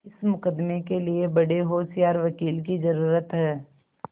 इस मुकदमें के लिए बड़े होशियार वकील की जरुरत है